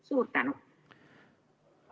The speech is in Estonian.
Suur tänu!